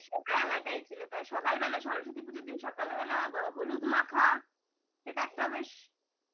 সে তো আলাদাই ছিল তা সকালবেলা সরস্বতী পুজোর দিন সকালবেলা হলুদ মাখা এটা একটাও বেশ